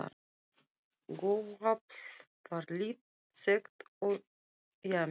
Gufuafl var lítt þekkt og James